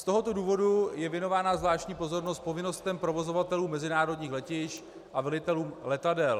Z tohoto důvodu je věnována zvláštní pozornost povinnostem provozovatelů mezinárodních letišť a velitelům letadel.